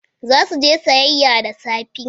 Za su je siyayya da safe.